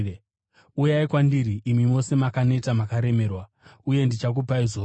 “Uyai kwandiri, imi mose makaneta makaremerwa, uye ndichakupai zororo.